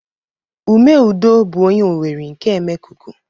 Ume Udo bu onye Owerri nke Emekuku.